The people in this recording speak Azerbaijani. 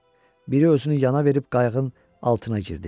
Biri özünü yana verib qayığın altına girdi.